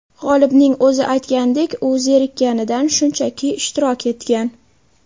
G‘olibning o‘zi aytganidek, u zerikkanidan, shunchaki ishtirok etgan.